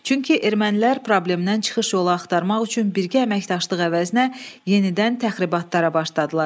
Çünki ermənilər problemdən çıxış yolu axtarmaq üçün birgə əməkdaşlıq əvəzinə yenidən təxribatlara başladılar.